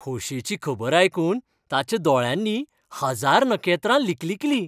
खोशेची खबर आयकून ताच्या दोळ्यांनी हजार नखेत्रां लिकलिकलीं.